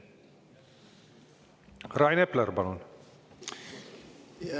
Rain Epler, palun!